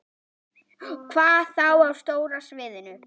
Hvað þá á stóra sviðinu?